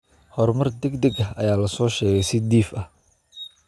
Horumar degdeg ah ayaa la soo sheegay si dhif ah.